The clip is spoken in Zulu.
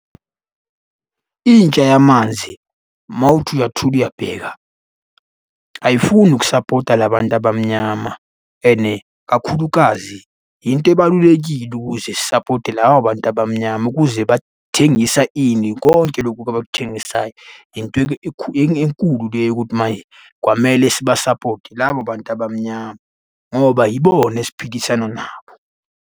Intsha yamanzi, uma uthi uyathula uyabheka, ayifuni ukusapota la bantu abamnyama and kakhulukazi yinto ebalulekile ukuze sisapote labo bantu abamnyama ukuze bathengisa ini, konke lokhu-ke abakuthengisayo. Into enkulu leyo yokuthi manje kwamele sibasapote labo bantu abamnyama ngoba yibona esiphilisana nabo.